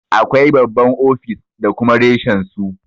Akwai babban ofis da kuma reshen su.